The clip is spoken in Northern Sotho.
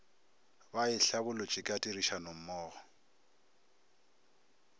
ba e hlabolotše ka tirišanommogo